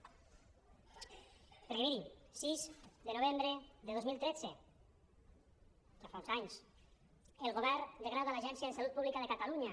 perquè miri sis de novembre de dos mil tretze ja fa uns anys el govern degrada l’agència de salut pública de catalunya